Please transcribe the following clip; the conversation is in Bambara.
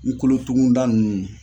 N kolotugunda ninnu